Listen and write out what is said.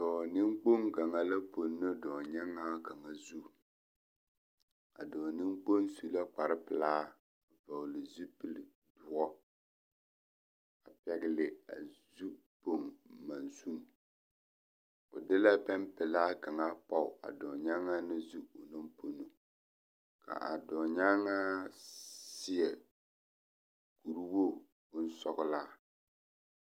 Dɔɔ neŋkpoŋ kaŋa la pono dɔɔ-nyaŋaa kaŋa zu a dɔɔ neŋkpoŋ su la kpare pelaa a vɔgele zupili doɔ a pɛgele a zu poŋ monsini, o de la pɛmpelaa kaŋa pɔge a dɔɔ-nyaŋaa na zu onaŋ pono ka a dɔɔ-nyaŋaa seɛ kuri wogi bonsɔgelaa.